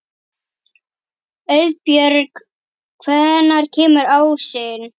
Auðbjörg, hvenær kemur ásinn?